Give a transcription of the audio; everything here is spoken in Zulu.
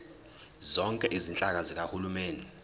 zonke izinhlaka zikahulumeni